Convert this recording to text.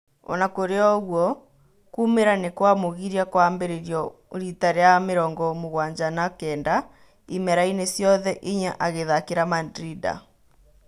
Onakũrĩoũguo kũũmira nĩkwamũgiria kũambirĩrio riita rĩa mĩrongo mũgwanja na-kenda imerainĩ ciothe inya agĩthakira Mandrinda.